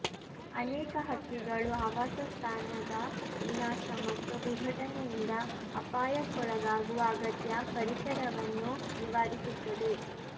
ಅನೇಕ ಹಕ್ಕಿಗಳು ಆವಾಸಸ್ಥಾನದ ವಿನಾಶ ಮತ್ತು ವಿಘಟನೆಯಿಂದ ಅಪಾಯಕ್ಕೊಳಗಾಗುವ ಅಗತ್ಯ ಪರಿಸರವನ್ನು ನಿವಾರಿಸುತ್ತದೆ